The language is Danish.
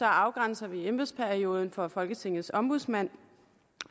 afgrænser vi embedsperioden for folketingets ombudsmand